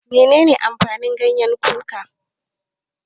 Menene amfanin gyanyen kuka?